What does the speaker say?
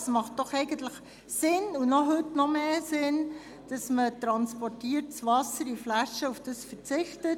Es macht doch eigentlich Sinn – und heute noch verstärkt –, dass man auf in Flaschen transportiertes Wasser verzichtet.